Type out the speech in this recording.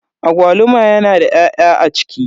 Agwaluma yana da 'ya'ya a ciki.